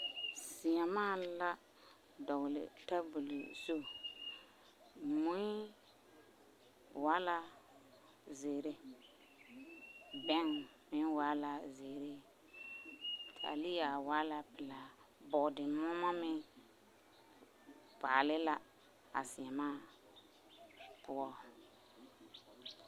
Seemaa la dɔgele teebole zu, mui waa la zeere, bɛŋ meŋ waa la zeere taalea waa la pelaa, bɔɔdemoɔmɔ meŋ paale a seemaa poɔ.